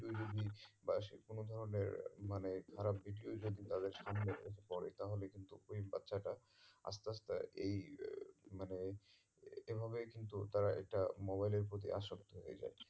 বা সে কোনো ধরণের মানে খারাপ video যদি তাদের সামনে এসে পরে তাহলে কিন্তু ওই বাচ্ছাটা আস্তে আস্তে এই মানে এই ভাবেই কিন্তু তারা এটা mobile এর প্রতি আসক্ত হয়ে যাচ্ছে